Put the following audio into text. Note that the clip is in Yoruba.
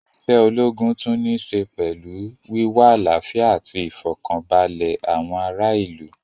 Isé ológun tún ní í ṣe pẹlú wíwá àlàfíà ati ìfọ̀kaǹbalẹ̀ àwọn ará ìlú